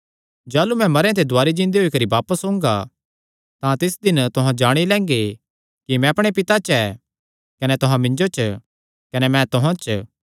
जाह़लू मैं मरेयां ते दुवारी जिन्दे होई करी बापस ओंगा तां तिस दिन तुहां जाणी लैंगे कि मैं अपणे पिता च ऐ कने तुहां मिन्जो च कने मैं तुहां च